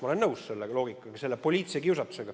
Ma mõistan seda loogikat, seda poliitilist kiusatust.